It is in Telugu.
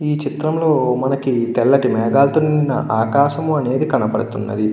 ఈ చిత్రంలో మనకి తెల్లటి మేఘాలుతో నిండిన ఆకాశము అనేది కనబడుతున్నది.